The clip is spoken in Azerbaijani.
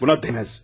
Buna dəyməz.